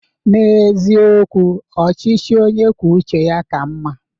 N'eziokwu, ọchịchị onye kwuo uche ya ka mma.